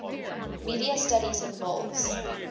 media studies involves